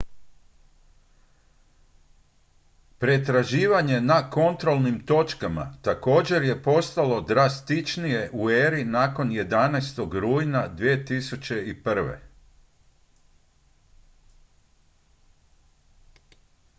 pretraživanje na kontrolnim točkama također je postalo drastičnije u eri nakon 11. rujna 2001